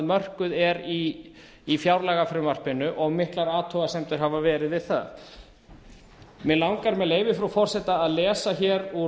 mörkuð er í fjárlagafrumvarpinu og miklar athugasemdir hafa verið við það mig langar hér með leyfi frú forseta að lesa hér úr